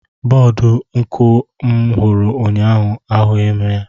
Bọdụ nku m hụrụ ụnyaahụ ahụghị m.